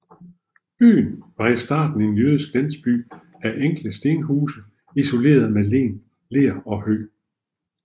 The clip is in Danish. Byen var i starten en jødisk landsby af enkle stenhuse isolerede med ler og hø